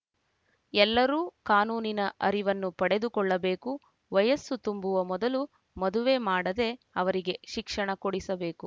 ಎಲ್ಲರೂ ಕಾನೂನಿನ ಅರಿವನ್ನು ಪಡೆದುಕೊಳ್ಳಬೇಕು ವಯಸ್ಸು ತುಂಬುವ ಮೊದಲು ಮದುವೆ ಮಾಡದೆ ಅವರಿಗೆ ಶಿಕ್ಷಣ ಕೊಡಿಸಬೇಕು